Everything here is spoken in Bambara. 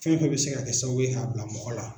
Fɛn fɛn bɛ se ka kɛ sababu ye k'a bila mɔgɔ la.